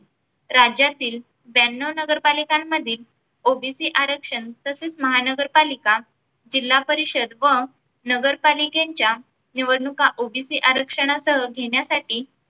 राज्यातील ब्यानव्व नगर पालिकांमधील OBC आरक्षण तसेच महानगरपालिका, जिल्हापरिषद व नगरपालिकेंच्या निवडणुका OBC आरक्षणासह घेण्यासाठी